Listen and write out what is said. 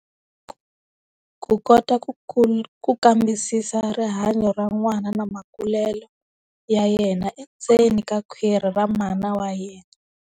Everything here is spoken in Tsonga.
Ku kota ku ku kambisisa rihanyo ra n'wana na makulelo ya yena endzeni ka kwhwiri ra mana wa yena.